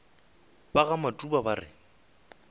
ba ga matuba ba re